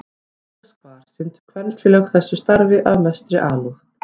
Víðast hvar sinntu kvenfélög þessu starfi af mestri alúð.